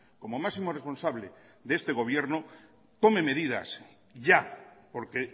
como máximo responsable de este gobierno tome medidas ya porque